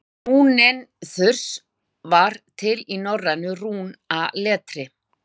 Rúnin þurs var til í norrænu rúnaletri.